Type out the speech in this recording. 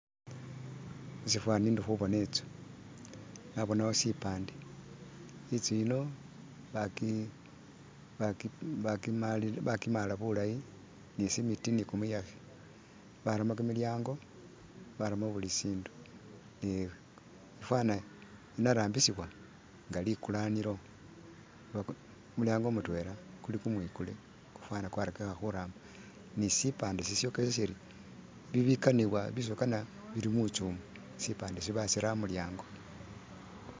Musifani ndi khuboona i'nzu nabonawo sipande, inzu yino ba ki bakimaala bulayi ni cement ni kumuyekhe baramo kimilyango baramo buli sindu ni ifwana inarambisibwa nga likulanilo baku kumuyango mutwela kuli kumwikule fwana kwarakikha khuramba ni sipande sisyokesa Siri bibikanibwa bisibakana bili mu nzu umwo, sipande isho basira amulyango